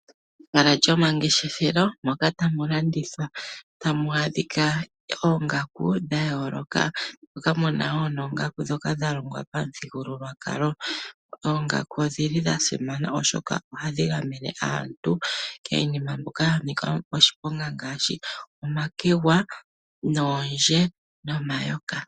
Ehala lyomangeshefelo moka tamu landithwa tamu adhika oongaku dhayooloka. Moka muna woo noongaku ndhoka dhalongwa pamuthigululwakalo. Oongaku odhili dha simana oshoka ohadhi gamene aantu kiinima mbyoka yanika oshiponga ngaashi omakegwa , oondje nomayoka.